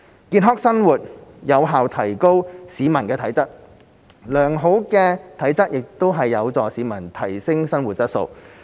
健康生活有效提高市民的體質，而良好的體質則有助市民提升生活質素。